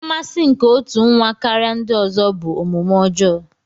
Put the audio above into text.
Mmasị nke otu nwa karịa ndị ọzọ bụ omume ọjọọ.